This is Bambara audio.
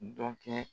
Dɔ kɛ